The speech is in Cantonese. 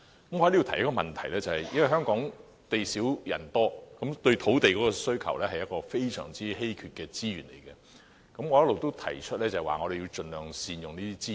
我想就此提出一項補充質詢，由於香港地少人多，土地是非常稀缺的資源，我一直也提出要盡量善用資源。